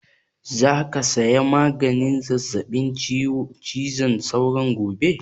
Za ka saya maganin zazzaɓin cizon sauron gobe?